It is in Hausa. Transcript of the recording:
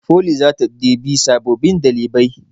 Foli zata ɗebi sababbin ɗalibai